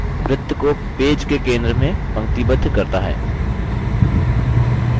option centered वृत्त को page के centre में पंक्तिबद्ध करता है